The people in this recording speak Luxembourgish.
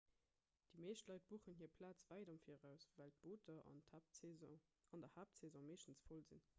déi meescht leit buchen hir plaz wäit am viraus well d'booter an der haaptsaison meeschtens voll sinn